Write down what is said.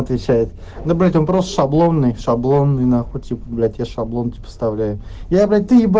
отвечает но блять вопрос шаблоннный шаблонный нахуй типа блять я шаблон тебе поставляю я блять ты еба